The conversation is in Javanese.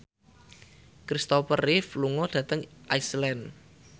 Kristopher Reeve lunga dhateng Iceland